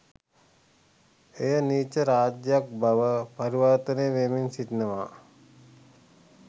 එය නීච රාජ්‍යයක් බවට පරිවර්තනය වෙමින් සිටිනවා